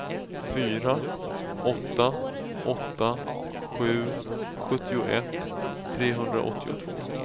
fyra åtta åtta sju sjuttioett trehundraåttiotvå